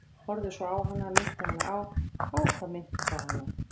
Horfði svona á hana, minnti hana á- á hvað minnti það hana?